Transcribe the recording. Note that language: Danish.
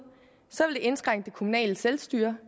vil det indskrænke det kommunale selvstyre